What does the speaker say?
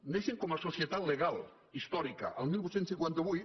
neixen com a societat legal històrica el divuit cinquanta vuit